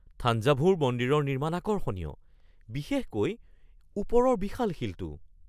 থাঞ্জাভুৰ মন্দিৰৰ নিৰ্মাণ আকৰ্ষণীয়, বিশেষকৈ ওপৰৰ বিশাল শিলটো।